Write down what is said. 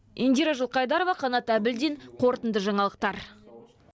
индира жылқайдарова қанат әбілдин қорытынды жаңалықтар